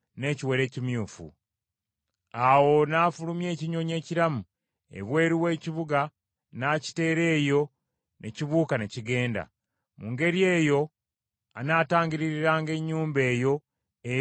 Awo n’afulumya ekinyonyi ekiramu ebweru w’ekibuga n’akiteera eyo ne kibuuka ne kigenda. Mu ngeri eyo anaatangiririranga ennyumba eyo era eneebanga nnongoofu.”